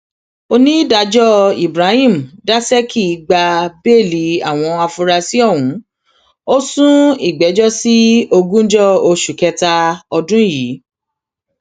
onídàájọ ibrahim dasékì gba bẹẹlí àwọn afurasí ọhún ó sún ìgbẹjọ sí ogúnjọ oṣù kẹta ọdún yìí